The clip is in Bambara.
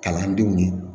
Kalandenw